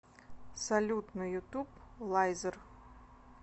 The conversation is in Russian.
салют на ютуб лайзер